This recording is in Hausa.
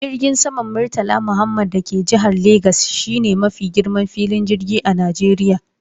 Jirgin saman murtala muhammed da ke jihar legas shine mafi girman filin jirgi a Najeriya.